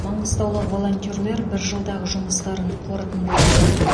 маңғыстаулық волонтерлер бір жылдағы жұмыстарын қорытындылады